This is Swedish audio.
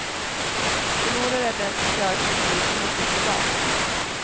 Förlorare är den som kör sin bil mycket privat.